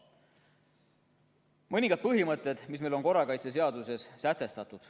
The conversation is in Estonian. Loen ette mõningad põhimõtted, mis on korrakaitseseaduses sätestatud.